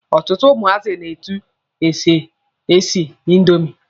Ọtụtụ ụmụazị ma etu e si esi indomi.